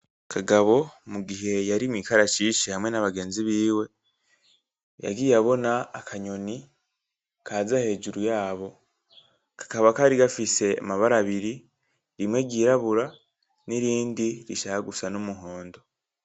Kagabo mugihe yari mwi karashishsi hamwe nabagenzi biwe, yagiye abona a akanyoni kaza hejuru yabo ,kakaba kari gafise amabara abiri ,rimwe ryirabura n'irindi rishaka gusa numuhondo.